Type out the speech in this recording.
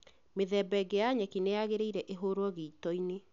Mĩthemba ĩngĩ ya nyeki nĩyagĩrĩire ĩhurwo gĩitoinĩ